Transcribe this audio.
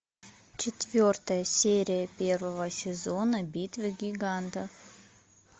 четвертая серия первого сезона битвы гигантов